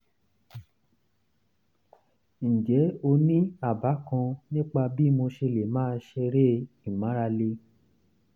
ǹjẹ́ o ní àbá kan nípa bí mo ṣe lè máa ṣeré ìmárale?